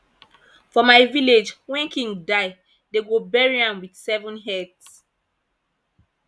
for my village wen king die dey go bury am with seven heads